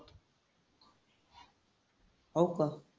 हो का?